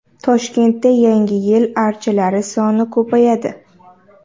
Toshkentda Yangi yil archalari soni ko‘payadi.